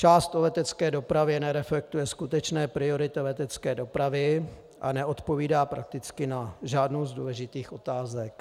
Část o letecké dopravě nereflektuje skutečné priority letecké dopravy a neodpovídá prakticky na žádnou z důležitých otázek.